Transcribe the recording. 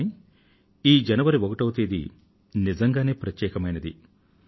కానీ ఈ జనవరి ఒకటో తేదీ నిజంగానే ప్రత్యేకమైనటువంటిది